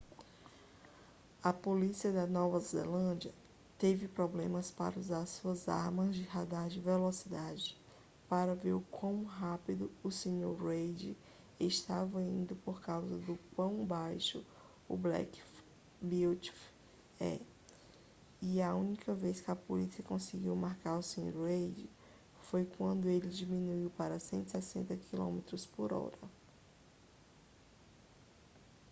a polícia da nova zelândia teve problemas para usar suas armas de radar de velocidade para ver o quão rápido o sr. reid estava indo por causa do quão baixo o black beauty é e a única vez que a polícia conseguiu marcar o sr. reid foi quando ele diminuiu para 160km/h